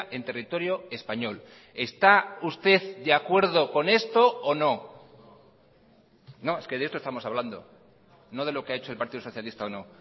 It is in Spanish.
en territorio español está usted de acuerdo con esto o no no es que de esto estamos hablando no de lo que ha hecho el partido socialista o no